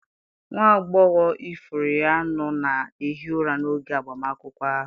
Nwa agbọghọ ifuru ya nọ na-ehi ụra n'oge agbamakwụkwọ ahụ.